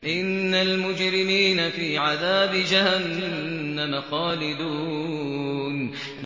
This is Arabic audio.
إِنَّ الْمُجْرِمِينَ فِي عَذَابِ جَهَنَّمَ خَالِدُونَ